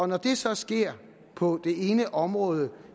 når det så sker på det ene område